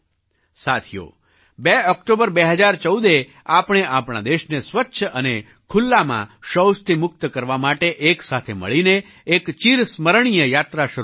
સાથીઓ 2 ઑક્ટોબર 2014એ આપણે આપણા દેશને સ્વચ્છ અને ખુલ્લામાં શૌચથી મુક્ત કરવા માટે એક સાથે મળીને એક ચિરસ્મરણીય યાત્રા શરૂ કરી હતી